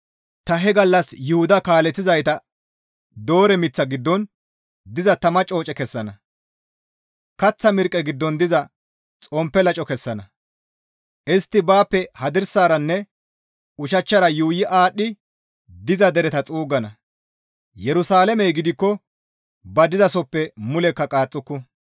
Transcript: «Ta he gallas Yuhuda kaaleththizayta doore miththa giddon diza tama cooce kessana; kaththa mirqqe giddon diza xomppe laco kessana; istti baappe hadirsaranne ushachchara yuuyi aadhdhi diza dereta xuuggana; Yerusalaamey gidikko ba dizasoppe mulekka qaaxxuku.